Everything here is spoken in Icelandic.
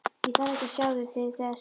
Ég þarf ekki að sjá þau til þess.